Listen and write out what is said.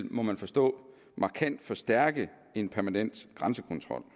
må man forstå markant forstærke en permanent grænsekontrol